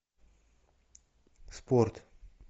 спорт